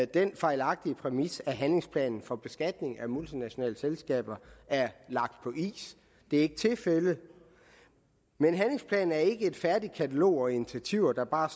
den fejlagtige præmis at handlingsplanen for beskatning af multinationale selskaber er lagt på is det er ikke tilfældet handlingsplanen er ikke et færdigt katalog over nogen initiativer der bare